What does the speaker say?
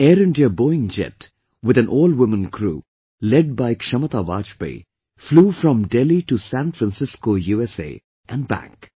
An Air India Boeing jet with an all woman crew led by Kshamata Vajpayee flew from Delhi to San Francisco, USA and back